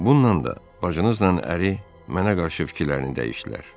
Bununla da bacınızla əri mənə qarşı fikirlərini dəyişdilər.